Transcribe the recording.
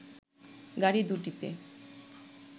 গাড়ি দু'টিতে